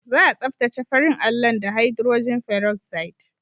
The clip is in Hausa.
Za a tsaftace farin allon da hidrojin feroxide.